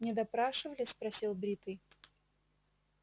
не допрашивали спросил бритый